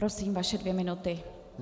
Prosím, vaše dvě minuty.